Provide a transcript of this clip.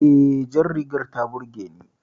E, jar rigar ta burge ni